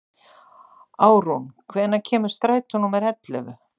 Árún, hvenær kemur strætó númer ellefu?